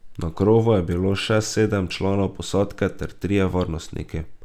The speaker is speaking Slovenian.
Na krovu je bilo še sedem članov posadke ter trije varnostniki.